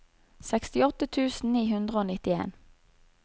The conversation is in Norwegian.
sekstiåtte tusen ni hundre og nittien